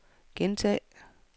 gentag